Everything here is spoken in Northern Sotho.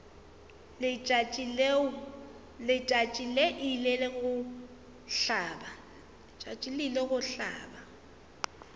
letšatši le ile go hlaba